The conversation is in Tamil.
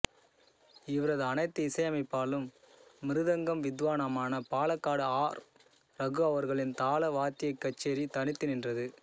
இவரது அனைத்து இசையமைப்பிலும் மிருதங்கம் வித்வானான பாலக்காடு ஆர் ரகு அவர்களின் தாள வாத்தியக் க்ச்சேரி தனித்து நின்றது